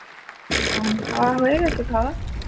হম, খাওয়া হয়ে গেছে খাওয়া?